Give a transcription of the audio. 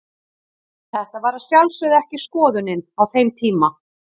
Þetta var að sjálfsögðu ekki skoðunin á þeim tíma.